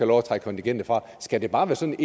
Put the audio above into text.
lov at trække kontingentet fra skal det bare sådan